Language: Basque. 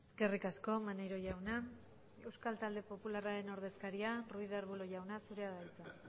eskerrik asko maneiro jauna euskal talde popularraren ordezkaria ruiz de arbulo jauna zurea da hitza